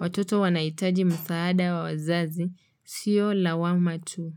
Watoto wanahitaji msaada wa wazazi. Sio lawama tu.